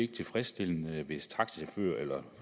tilfredsstillende hvis taxachauffører eller